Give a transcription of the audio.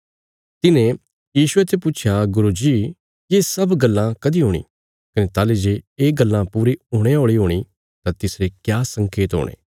तिन्हे यीशुये ते पुच्छया गुरू जी ये सब गल्लां कदीं हूणी कने ताहली जे ये गल्लां पूरी हुणे औल़ी हूणी तां तिसरे क्या संकेत हुणे